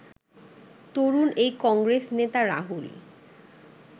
তরুণ এই কংগ্রেস নেতা রাহুল